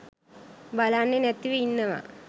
බලන්නේ නැතිව ඉන්නවා.